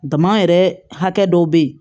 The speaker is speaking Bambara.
Dama yɛrɛ hakɛ dɔw bɛ ye